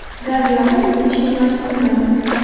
Gaz yoqib isinishga majburmiz.